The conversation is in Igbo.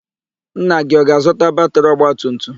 Nna gị ọ ga-azụta batịrị ọgbatumtum?